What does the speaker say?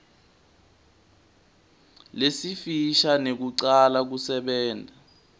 lesifisha nekucala kusebenta